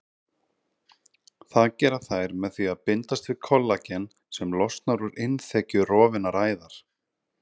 Það gera þær með því að bindast við kollagen sem losnar úr innþekju rofinnar æðar.